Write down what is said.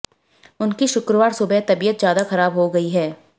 उनकी शुक्रवार सुबह तबीयत ज्यादा खराब हो गई है